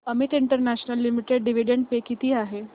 Amit international limited dividend pay किती आहे